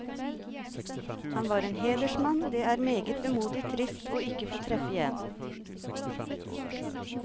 Han var en hedersmann det er meget vemodig og trist ikke å få treffe igjen.